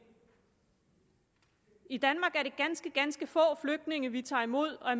i danmark er det ganske ganske få flygtninge vi tager imod og